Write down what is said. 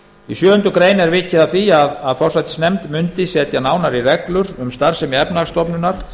í sjöundu grein er vikið að því að forsætisnefnd mundi setja nánari reglur um starfsemi efnahagsstofnunar